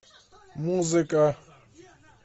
музыка